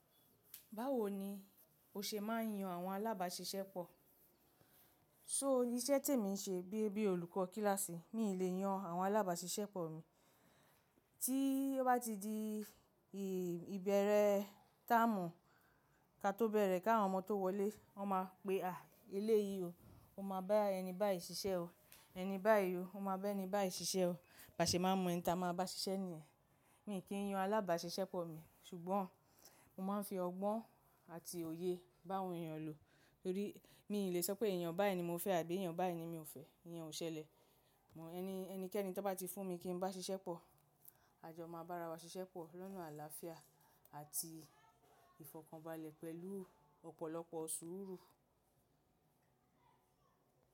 Báwo ni o ṣe máa ń yan àwọn alábàáṣiṣẹ́ pọ̀? So iṣẹ́ tí èmi ń ṣe bíi bíi olùkọ́ kíláàsì, mi ì lè yan àwọn alábàáṣiṣẹ́ pọ̀ mi. Tí ó bá ti di ìbẹ̀rẹ̀ táàmù ka tó bẹ̀rẹ̀ ká àwọn ọmọ tó wọlé, wọ́n máa pe, à eléyìí o, o máa bá ẹni báyìí ṣiṣẹ́ o, ẹni báyìí o, o máa bá ẹni báyìí ṣiṣẹ́ o. Bá ṣe máa mọ ẹni ta máa bá ṣiṣẹ́ nìyẹn. Mi kì í yan alábàáṣiṣẹ́ pọ̀ mi, ṣùgbọ́n mo máa ń fi ọgbọ́n àti òye bá awọn èèyàn lo. Nítorí mi lè sọ pé èèyàn báyìí ni mo fẹ́ àbí èèyàn báyìí ni mi ò fẹ́, iyan ò ṣẹlẹ̀. Ẹni, ẹnikẹ́ni tàn wọ́n bá ti fún mi kí n bá ṣiṣẹ́ pọ̀, a jọ máa bá ara wa ṣiṣẹ́ pọ̀ lọ́nà àlàáfíà àti ìfọ̀kànbalẹ̀ pẹ̀lú ọ̀pọ̀lọpọ̀ sùúrù.